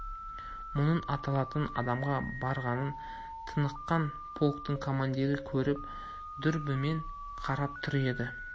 мұның атылатын адамға барғанын тыныққан полктың командирі көріп дүрбімен қарап тұр еді